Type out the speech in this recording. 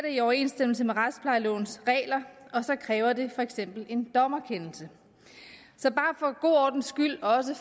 i overensstemmelse med retsplejelovens regler og så kræver det for eksempel en dommerkendelse så bare for god ordens skyld også